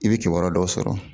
I bɛ kibaruya dɔw sɔrɔ